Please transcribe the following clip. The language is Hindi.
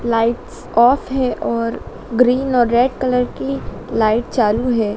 लाइट्स ऑफ है और ग्रीन और रेड कलर की लाइट चालू है।